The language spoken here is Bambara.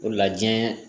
O la diɲɛ